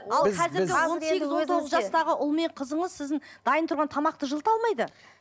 ал қазіргі он сегіз он тоғыз жастағы ұл мен қызыңыз сіздің дайын тұрған тамақты жылыта алмайды